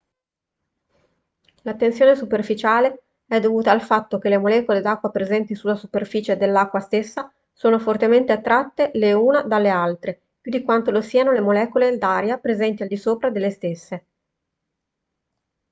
la tensione superficiale è dovuta al fatto che le molecole d'acqua presenti sulla superficie dell'acqua stessa sono fortemente attratte le una dalle altre più di quanto lo siano le molecole d'aria presenti al di sopra delle stesse